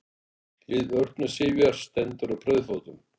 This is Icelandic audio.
Lið Örnu Sifjar stendur á brauðfótum